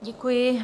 Děkuji.